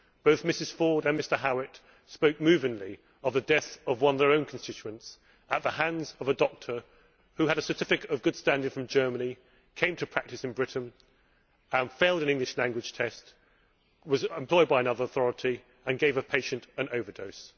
Both Mrs Ford and Mr Howitt spoke movingly of the deaths of one of their own constituents at the hands of a doctor who had a certificate of good standing from Germany, came to practise in Britain and failed an English language test, was employed by another authority, and gave a patient an overdose.